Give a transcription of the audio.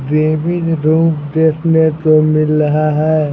Weaving rope देखने को मिल रहा है।